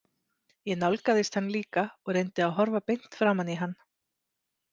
Ég nálgaðist hann líka og reyndi að horfa beint framan í hann.